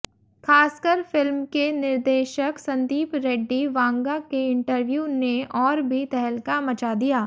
खासकर फिल्म के निर्देशक संदीप रेड्डी वांगा के इंटरव्यू ने और भी तहलका मचा दिया